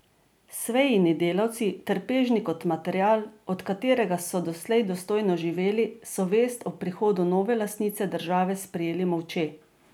Sveini delavci, trpežni kot material, od katerega so doslej dostojno živeli, so vest o prihodu nove lastnice države sprejeli molče.